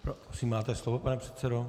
Prosím, máte slovo, pane předsedo.